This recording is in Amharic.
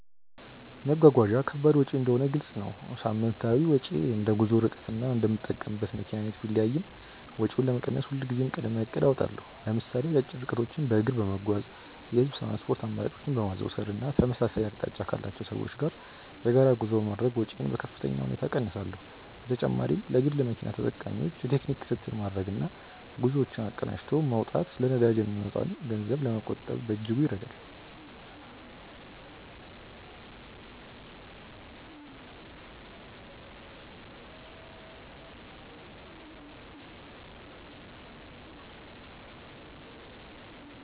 መጓጓዣ ከባድ ወጪ እንደሆነ ግልጽ ነው። ሳምንታዊ ወጪዬ እንደ ጉዞው ርቀትና እንደምጠቀምበት መኪና አይነት ቢለያይም፣ ወጪውን ለመቀነስ ሁልጊዜም ቅድመ እቅድ አወጣለሁ። ለምሳሌ አጫጭር ርቀቶችን በእግር በመጓዝ፣ የህዝብ ትራንስፖርት አማራጮችን በማዘውተር እና ተመሳሳይ አቅጣጫ ካላቸው ሰዎች ጋር የጋራ ጉዞ በማድረግ ወጪዬን በከፍተኛ ሁኔታ እቀንሳለሁ። በተጨማሪም ለግል መኪና ተጠቃሚዎች የቴክኒክ ክትትል ማድረግና ጉዞዎችን አቀናጅቶ መውጣት ለነዳጅ የሚወጣን ገንዘብ ለመቆጠብ በእጅጉ ይረዳል።